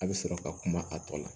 A bɛ sɔrɔ ka kuma a tɔ la